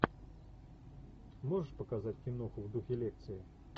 можешь показать киноху в духе лекции